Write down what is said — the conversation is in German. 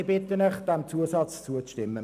Ich bitte Sie, dem Antrag zuzustimmen.